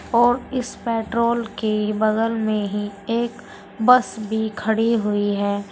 और इस पेट्रोल के बगल में ही एक बस भी खड़ी हुई है।